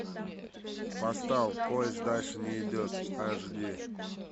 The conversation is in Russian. поставь поезд дальше не идет аш ди